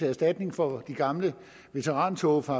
erstatning for de gamle veterantog fra